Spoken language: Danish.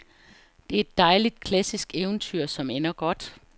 Det er et dejligt, klassisk eventyr, som ender godt.